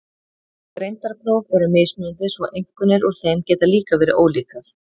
Greindarpróf eru mismunandi svo einkunnir úr þeim geta líka verið ólíkar.